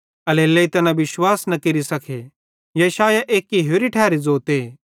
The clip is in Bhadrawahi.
एल्हेरेलेइ तैना विश्वास न केरि सके यशायाह एक्की होरि ठैरी ज़ोते